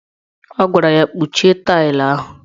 Ọ gwara ya"Kpuchie tailu ahụ! "